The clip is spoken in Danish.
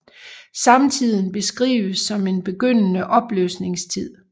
Samtiden beskrives som en begyndende opløsningstid